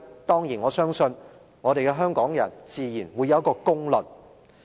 當然，我相信香港人自然會有一個公論。